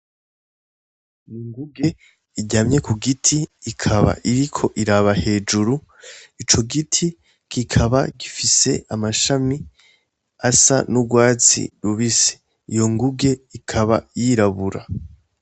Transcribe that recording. Inguge iryamye k'ugiti ikaba iriko iraba hejuru, ico giti kikaba gifise amashami asa n'urwatsi rubisi. Iyo nguge ikaba yirabura.